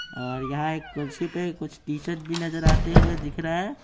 और यहां एक कुर्सी पे कुछ टीचर भी नजर आते हुए दिख रहा है।